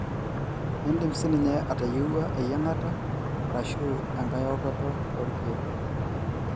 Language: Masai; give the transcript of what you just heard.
Indim sininye atayieuwua eyiangata arashu engae okoto olkek